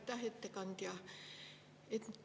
Aitäh, ettekandja!